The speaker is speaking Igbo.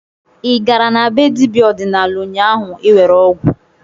Ị gara na be dibịa ọdịnala ụnyaahụ iwere ọgwụ?